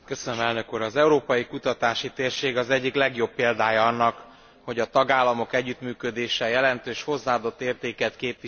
Az Európai Kutatási Térség az egyik legjobb példája annak, hogy a tagállamok együttműködése jelentős hozzáadott értéket képvisel.